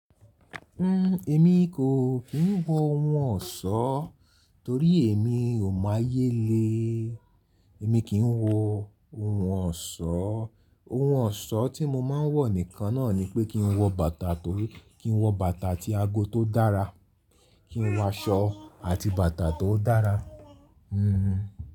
Emi kí ń wọ ohun ọ̀ṣọ́ torí èmi ò mọ ayé le. Ẹ̀mi kì ń wọ ohun ọ̀ṣọ́, ohun ọ̀ṣọ́ tí mo máa ń wọ nìkan náà ni pé kí ń wọ bàtà, kí ń wọ bàtà àti ago tó dára, kí ń wọ aṣọ àti bàtà tó dára.